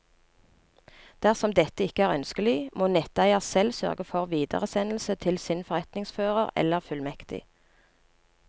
Dersom dette ikke er ønskelig, må netteier selv sørge for videresendelse til sin forretningsfører eller fullmektig.